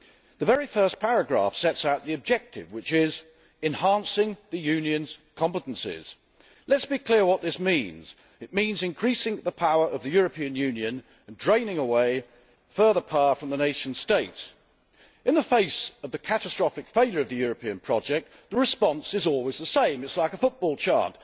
The very first paragraph sets out the objective which is enhancing the Unionʼs competencies'. Let us be clear what this means. It means increasing the power of the European Union and draining away further power from the nation states. In the face of the catastrophic failure of the European project, the response is always the same. It is like a football chant.